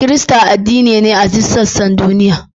Kirista addini ne a duk sassan duniya.